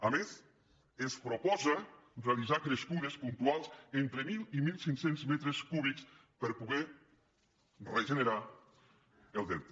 a més es proposa realitzar crescudes puntuals entre mil i mil cinc cents metres cúbics per poder regenerar el delta